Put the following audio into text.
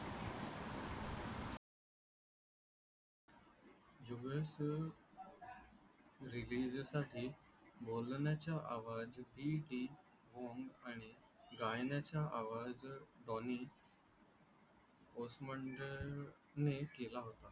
रीलीजसाठी बोलण्याच्या आवाज देखील आणि गायनाच्या आवाज ध्वनी पोस्मंडने केला होता.